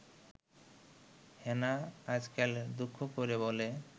হেনা আজকাল দুঃখ করে বলে